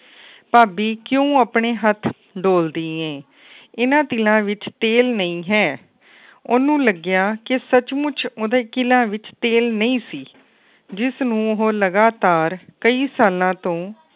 ਭਾਬੀ ਕਿਉ ਆਪਣੇ ਹੱਥ ਡੋਲਦੀ ਏ ਇਨ੍ਹਾਂ ਤਿਲਾਂ ਵਿੱਚ ਤੇਲ ਨਈ ਹੈ। ਓਹਨੂੰ ਲੱਗਿਆ ਕਿ ਸੱਚ ਮੁੱਚ ਉਹਦੇ ਤਿਲਾਂ ਵਿੱਚ ਤੇਲ ਨਹੀਂ ਸੀ। ਜਿਸ ਨੂੰ ਉਹ ਲਗਾਤਾਰ ਕਈ ਸਾਲਾਂ ਤੋਂ